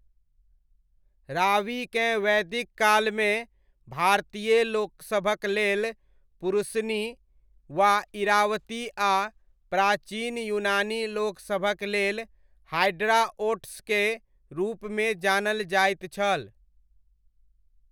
रावीकेँ वैदिक कालमे भारतीय लोकसभक लेल पुरुषनी वा इरावती आ प्राचीन यूनानी लोकसभक लेल हाईड्रॉओट्सके रूपमे जानल जाइत छल।